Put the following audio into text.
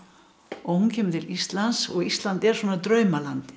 og hún kemur til Íslands og Ísland er svona draumalandið